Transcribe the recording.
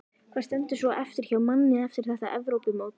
Hvað stendur svo eftir hjá manni eftir þetta Evrópumót?